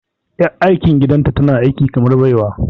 Ƴar aikin gidanta tana aiki kamar baiwa.